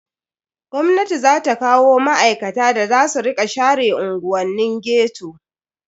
Gwamnati za ta kawo ma'aikata da za su rika share unguwannin ghetto.